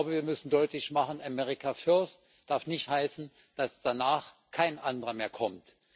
Wir müssen deutlich machen America First darf nicht heißen, dass danach kein anderer mehr kommt.